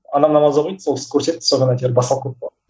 анам намаз оқиды сол кісі көрсетті содан әйтеуір басталып кетті ғой